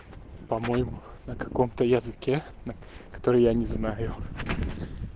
по-моему на каком-то языке который я не знаю